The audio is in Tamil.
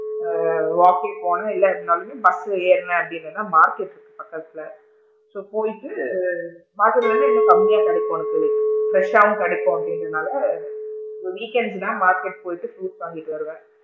ஆ walking போன்னேன் இல்ல அப்படினாலுமே bus ல ஏறுனேன் அப்படின்னு சொன்னா மார்கெட் இருக்கு பக்கத்துல so போயிட்டு மார்கெட் ல வந்து இன்னும் கம்மியா கிடைக்கும் உனக்கு fresh சாவும் கிடைக்கும் அப்படிங்க்ரனால so weekend தான் மார்கெட் போயிட்டு fruits வாங்கிட்டு வருவேன்.